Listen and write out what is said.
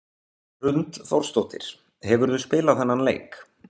Hrund Þórsdóttir: Hefurðu spilað þennan leik?